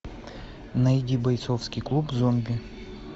найди бойцовский клуб зомби